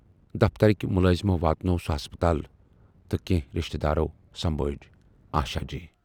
دفترٕکۍ مُلٲزمٮ۪و واتنوو سُہ ہسپتال تہٕ کینہہ رشتہٕ دارو سمبھٲجۍ آشا جی۔